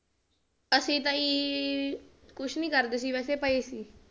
ਅਸੀਂ ਤਾਂ ਜੀ ਕੁਛ ਨੀ ਕਰਦੇ ਸੀ ਵੈਸੇ ਪਏ ਸੀ